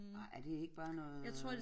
Ej er det ikke bare noget